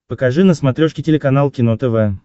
покажи на смотрешке телеканал кино тв